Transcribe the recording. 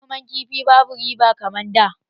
Noman kifi babu riba kaman da